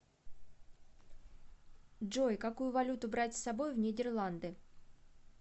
джой какую валюту брать с собой в нидерланды